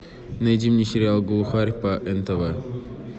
найди мне сериал глухарь по нтв